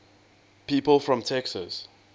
people from texas